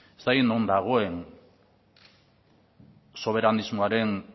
ez dakit non dagoen soberanismoaren